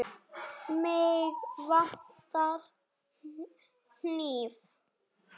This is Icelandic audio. Mig vantar hníf.